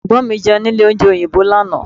Ẹ̀gbọ́n mi Jẹun nílé oúnjẹ òyìnbó lánàá